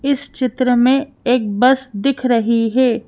इस चित्र में एक बस दिख रही है।